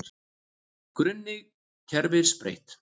Grunni kerfis breytt